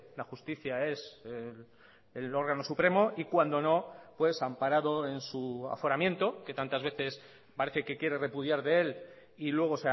la justicia es el órgano supremo y cuando no amparado en su aforamiento que tantas veces parece que quiere repudiar de él y luego